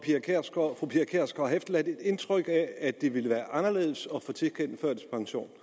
fru pia kjærsgaard har efterladt et indtryk af at det ville blive anderledes at få tilkendt førtidspension